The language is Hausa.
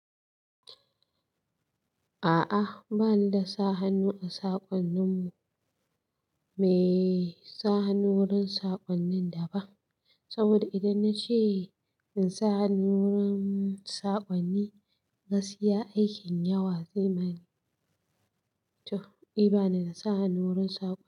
A'a, ba ni da sa hannu a saƙonnin mu, mai sa hannu wurin saƙonnin da ba. Saboda idan na ce in sa hannu wurin saƙonni, gaskiya aikin yawa zai bani. Toh, i ba ni na sa hannu wurin saƙo.